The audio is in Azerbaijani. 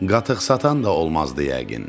Qatıqsatan da olmazdı yəqin.